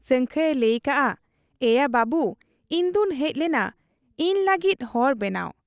ᱥᱟᱹᱝᱠᱷᱟᱹᱭ ᱮ ᱞᱟᱹᱭ ᱟᱠᱟᱜ ᱟ, 'ᱮᱭᱟ ᱵᱟᱹᱵᱩ ᱤᱧᱫᱚᱧ ᱦᱮᱡ ᱞᱮᱱᱟ ᱤᱧ ᱞᱟᱹᱟᱜᱤᱫ ᱦᱚᱨ ᱵᱮᱱᱟᱣ ᱾